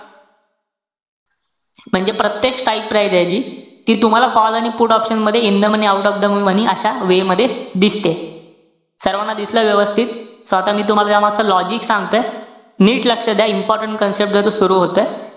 म्हणजे प्रत्येक strike price आहे जी, ती तुम्हाला call आणि put option मध्ये in the money, out of the money अशा way मध्ये दिसते. सर्वाना दिसलं व्यवस्थित? So आता मी तुम्हाला या मागचं logic सांगतोय. नीट लक्ष द्या. important concept जोय सुरू होतोय.